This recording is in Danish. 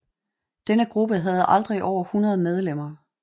Denne gruppe havde aldrig over 100 medlemmer